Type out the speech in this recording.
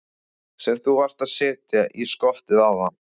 Sem þú varst að setja í skottið áðan?